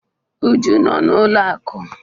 Uju no na n'ụlọ akụ.